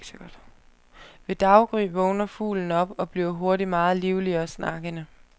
Ved daggry vågner fuglen op og bliver hurtigt meget livlig og snakkende.